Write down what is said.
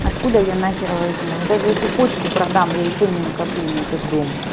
откуда я нахер возьму я даже если почку продам я и то не накоплю на этот дом